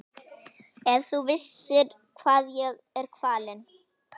Ef þú bara vissir hvað ég er kvalinn.